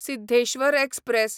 Siddheshwar express